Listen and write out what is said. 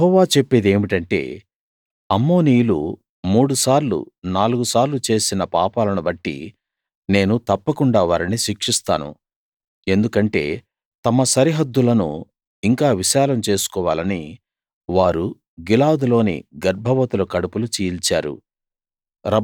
యెహోవా చెప్పేదేమిటంటే అమ్మోనీయులు మూడు సార్లు నాలుగు సార్లు చేసిన పాపాలను బట్టి నేను తప్పకుండా వారిని శిక్షిస్తాను ఎందుకంటే తమ సరిహద్దులను ఇంకా విశాలం చేసుకోవాలని వారు గిలాదులోని గర్భవతుల కడుపులు చీల్చారు